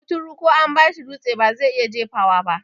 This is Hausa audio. Kuturu ko an bashi dutse bazai iya jefawa ba